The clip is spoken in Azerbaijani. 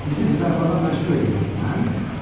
Sizi qızarmağa məcbur eləyirəm mən?